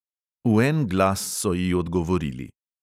V en glas so ji odgovorili.